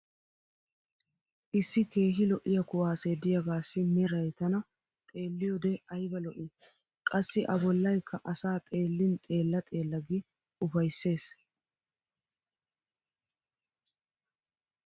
issi keehi lo'iya kuwaasse diyaagaassi meray tana xeeliyoode ubba ayba lo'ii. qassi a bolaykka asaa xeelin xeella xeella gi ufayses.